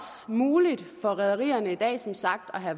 muligt for rederierne i dag som sagt at